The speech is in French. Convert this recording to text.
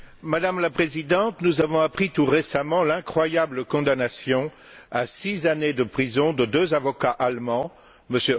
Madame la Présidente, nous avons appris tout récemment l'incroyable condamnation à six années de prison de deux avocats allemands, M.